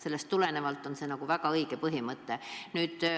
Sellest tulenevalt on see väga õige mõte.